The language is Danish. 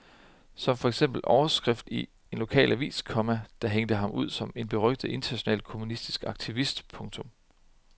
Som for eksempel overskrift i en lokal avis, komma der hængte ham ud som en berygtet international kommunistisk aktivist. punktum